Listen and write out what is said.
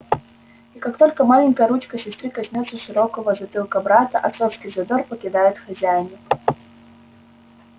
и как только маленькая ручка сестры коснётся широкого затылка брата отцовский задор покидает хозяина